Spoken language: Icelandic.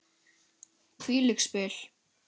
Hvílík spil!